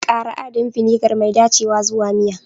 Ƙara adadin vinegar mai dacewa zuwa miya.